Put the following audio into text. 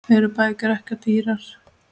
Eru bækur ekki of dýrar?